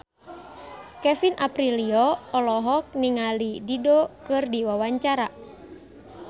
Kevin Aprilio olohok ningali Dido keur diwawancara